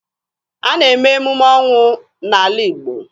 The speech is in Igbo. A na-eme emume ọnwụ n'ala Igbo.